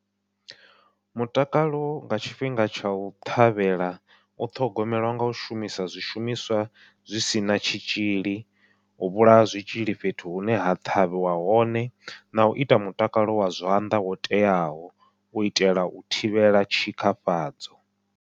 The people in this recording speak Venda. Mutakalo nga tshifhinga tsha u ṱhavhela u ṱhogomelwa ngau shumisa zwi shumiswa zwi sina zwitzhili, u vhulaya zwitzhili fhethu hune ha ṱhavhiwa hone nau ita mutakalo wa zwanḓa wo teaho u itela u thivhela tshikafhadzo.